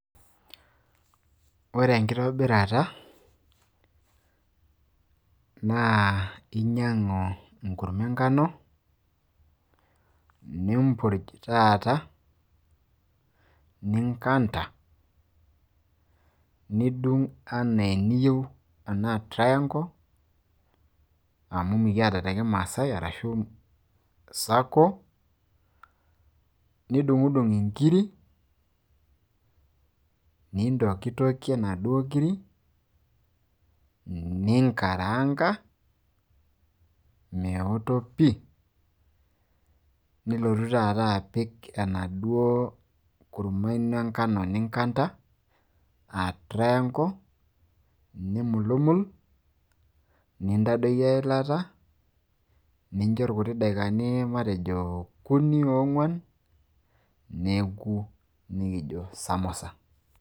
ore enkitobirata naa inyiang'u enkurma enkano, nimpurj taata, ninkanta, nidung' anaa eneyieu anaa triangle ashu circle, nidungidung inkiri, nintokitokie inaduoo kiri, ninkaraanka, meoto pii. nilotu taata apik enaduo kurma ino enkano ninkanta anaa triangle, nimulumul, nintadoiki eilata nincho irkuti daikani matejo okuni ashu ong'uan, nikijo samusa.